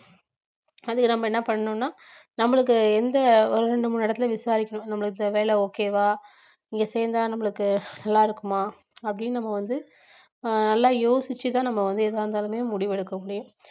அதுக்கு நம்ம என்ன பண்ணணும்னா நம்மளுக்கு எந்த ஒரு ரெண்டு மூணு இடத்துல விசாரிக்கனும் நம்மளுக்கு இந்த வேலை okay வா இங்க சேர்ந்தா நம்மளுக்கு நல்லா இருக்குமா அப்படின்னு நம்ம வந்து ஆஹ் நல்லா யோசிச்சுதான் நம்ம வந்து எதா இருந்தாலுமே முடிவெடுக்க முடியும்